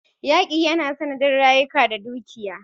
Yaƙi yana sanadin rasa rayuka da dukiya.